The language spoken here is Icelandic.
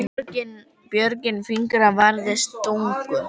Björgin fingra varðist stungu.